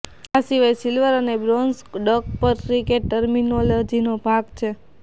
આ સિવાય સિલ્વર અને બ્રોન્ઝ ડક પણ ક્રિકેટ ટર્મિનોલોજીનો ભાગ છે